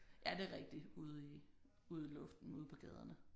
Ja det er rigtigt ude i ude i luften ude på gaderne